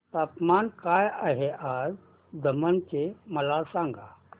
तापमान काय आहे आज दमण चे मला सांगा